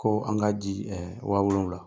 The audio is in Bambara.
Koo an k'a di wa wolonwula.